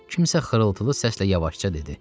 Kimsə xırıltılı səslə yavaşca dedi.